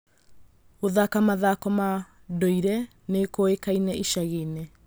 Gũthaka mathako ma ndũire nĩ kũĩkaine icagi-inĩ.